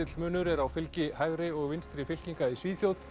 munur er á fylgi hægri og vinstri fylkinga í Svíþjóð